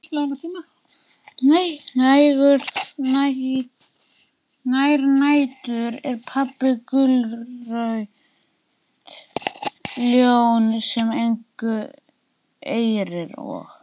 Þær nætur er pabbi gullrautt ljón sem engu eirir og